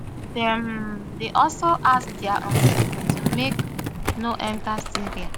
dem um dey also ask dia um citizens make dem no enta syria